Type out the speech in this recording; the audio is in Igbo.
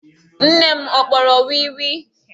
Nne m ọ kpọrọ wii wii?